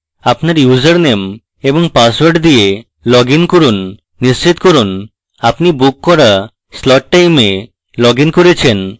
আপনার ইউজারনেম এবং পাসওয়ার্ড দিয়ে লগইন করুন নিশ্চিত করুন আপনি বুক করা slot time লগ in করছেন